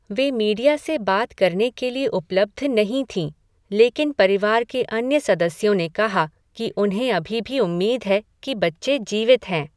वे media से बात करने के लिए उपलब्ध नहीं थीं, लेकिन परिवार के अन्य सदस्यों ने कहा कि उन्हें अभी भी उम्मीद है कि बच्चे जीवित हैं।